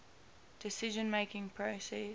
decision making process